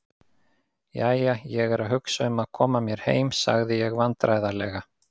Jæja, ég er að hugsa um að koma mér heim sagði ég vandræðalega.